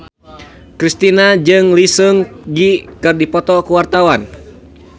Kristina jeung Lee Seung Gi keur dipoto ku wartawan